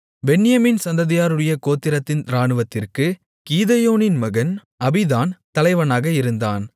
பென்யமீன் சந்ததியாருடைய கோத்திரத்தின் இராணுவத்திற்குக் கீதெயோனின் மகன் அபீதான் தலைவனாக இருந்தான்